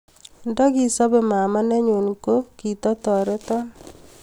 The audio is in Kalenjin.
Ndikisobe mama nenyu kogitatoreto